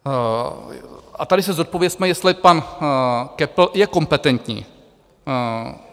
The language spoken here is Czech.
A tady si zodpovězme, jestli pan Köppl je kompetentní.